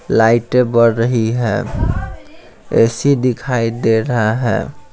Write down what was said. लाइटें बढ़ रही है ए_सी दिखाई दे रहा है।